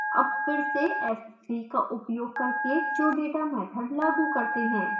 अब फिर से s3 का उपयोग करके showdata मैथड लागू करते हैं